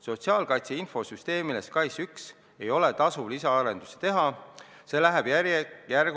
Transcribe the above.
Sotsiaalkaitse infosüsteemile ei ole tasuv lisaarendusi teha, see läheb järkjärgult kasutusest välja.